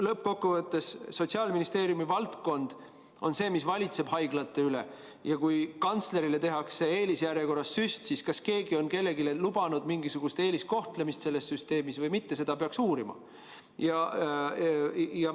Lõppkokkuvõttes on Sotsiaalministeerium see, mis valitseb haiglate üle, ja kui kantslerile tehakse eelisjärjekorras süst, siis peaks uurima, kas keegi on kellelegi lubanud mingisugust eeliskohtlemist selles süsteemis või mitte.